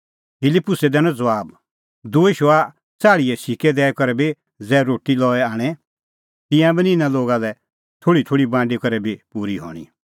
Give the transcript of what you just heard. फिलिप्पुसै दैनअ ज़बाब दूई शौआ च़ंदीए सिक्कै दैई करै बी ज़ै रोटी लई आणे तिंयां बी निं इना लोगा लै थोल़ीथोल़ी बांडी करै बी पूरी हणीं